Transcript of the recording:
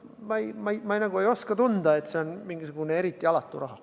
Ma nagu ei oska tunda, et see on mingisugune eriti alatu raha.